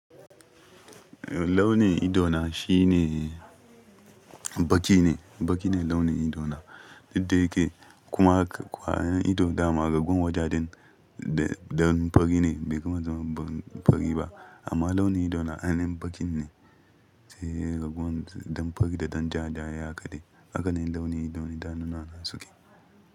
Launin ido na shi ne baƙi ne, baƙi ne launin ido na. Duk da yake. Kuma kwayoyin ido da kuma raguwar wajaden dan fari ne bai kuma zama ɗan fari ba. Amma launin ido na ainihin baƙi ne. Sai raguwar ɗan fari da ɗan ja da ya kaɗe. Haka ne launin idanu na suke.